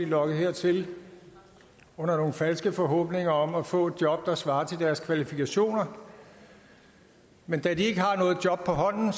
lokket hertil under nogle falske forhåbninger om at få et job der svarer til deres kvalifikationer men da de ikke har noget job på hånden